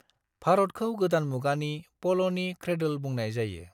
भारतखौ गोदान मुगानि पल'नि क्रेदोल बुंनाय जायो।